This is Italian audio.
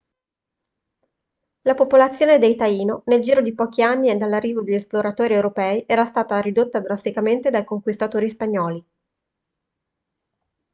la popolazione dei taino nel giro di pochi anni dall'arrivo degli esploratori europei era stata ridotta drasticamente dai conquistatori spagnoli